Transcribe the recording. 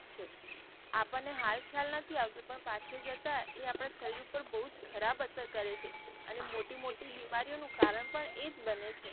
આપણને હાલ ખ્યાલ નથી આવતો પણ જતા એ આપડા શરીર ઉપર બૌજ ખરાબ અસર કરે છે અને મોટી મોટી બીમારીઓ નો કારણ પણ એ જ બને છે.